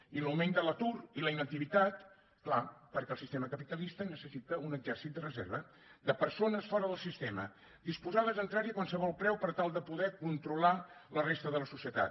i l’augment de l’atur i la inactivitat clar perquè el sistema capitalista necessita un exèrcit de reserva de persones fora del sistema disposades a entrar hi a qualsevol preu per tal de poder controlar la resta de la societat